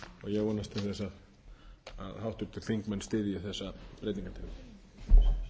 ég vonast til þess að háttvirtir þingmenn styðji þessa breytingartillögu